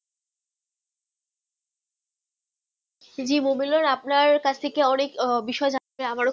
TV মোবাইলের আপনা কাছে অনেক বিষয় জানতে